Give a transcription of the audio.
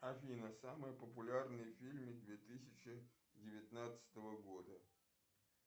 афина самые популярные фильмы две тысячи девятнадцатого года